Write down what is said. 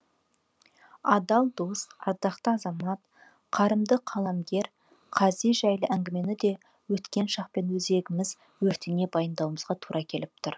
адал дос ардақты азамат қарымды қаламгер қази жайлы әңгімені де өткен шақпен өзегіміз өртене баяндауымызға тура келіп тұр